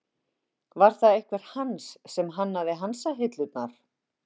Var það einhver Hans sem hannaði hansahillurnar?